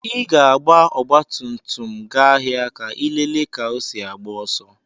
Ị ga-agba ọgbatumtum m gaa ahịa ka ịlele ka osi agbá ọsọ.